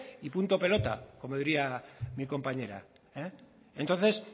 y punto pelota como diría mi compañera entonces